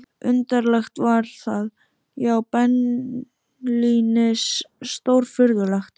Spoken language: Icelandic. Undarlegt var það, já beinlínis stórfurðulegt.